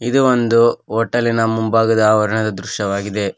ಇದು ಒಂದು ಹೋಟೆಲಿನ ಮುಂಭಾಗದ ಅವರಣದ ದೃಶ್ಯವಾಗಿದೆ.